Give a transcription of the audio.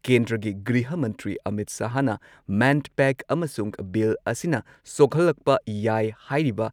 ꯀꯦꯟꯗ꯭ꯔꯒꯤ ꯒ꯭ꯔꯤꯍ ꯃꯟꯇ꯭ꯔꯤ ꯑꯃꯤꯠ ꯁꯍꯥꯍꯅ ꯃꯦꯟꯄꯦꯛ ꯑꯃꯁꯨꯡ ꯕꯤꯜ ꯑꯁꯤꯅ ꯁꯣꯛꯍꯜꯂꯛꯄ ꯌꯥꯏ ꯍꯥꯢꯔꯤꯕ